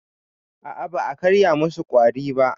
A a ba a karya musu ƙwari ba.